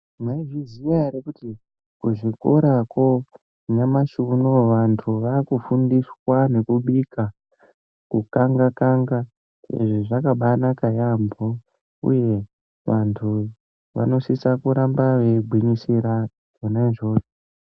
Mwaizviziya ere kuti kuzvikorakwo nyamashi unou vantu vaakufundiswa nekubika, kukangakanga, izvi zvakabaanaka yaampho uye vantu vanosise kuramba veigwinyisira zvona izvozvo.